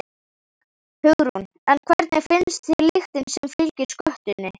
Hugrún: En hvernig finnst þér lyktin sem fylgir skötunni?